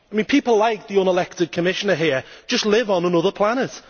People like the unelected Commissioner here just live on another planet.